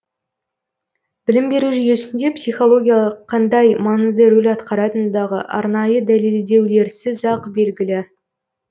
білім беру жүйесінде психология қандай маңызды рөл атқаратындығы арнайы дәлелдеулеріз ақ белгілі